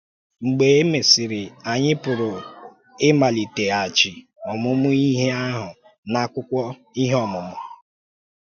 Mgbe e mesịrị, anyị pụrụ ịmaliteghachi ọmụmụ ihe ahụ n’akwụkwọ Ihe Ọ́mụma.